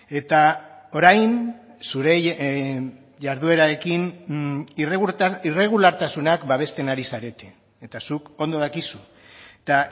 eta orain zure jarduerarekin irregulartasunak babesten ari zarete eta zuk ondo dakizu eta